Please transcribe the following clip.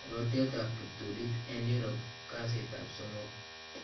Rotyootab kiptuliit en Europe kasiitab somook .